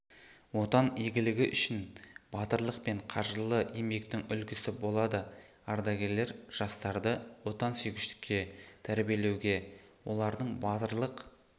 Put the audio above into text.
отан игілігі үшін батырлық пен қажырлы еңбектің үлгісі болады ардагерлер жастарды отансүйгіштікке тәрбиелеуге олардың батырлық